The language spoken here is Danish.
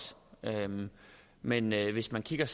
men men hvis man kigger